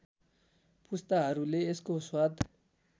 पुस्ताहरूले यसको स्वाद